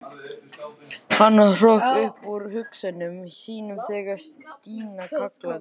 Hann hrökk upp úr hugsunum sínum þegar Stína kallaði.